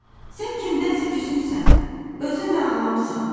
Sən kimdənsə küsmüsən, özün də ağlamısan.